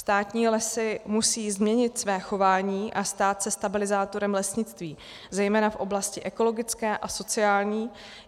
Státní lesy musejí změnit své chování a stát se stabilizátorem lesnictví, zejména v oblasti ekologické a sociální.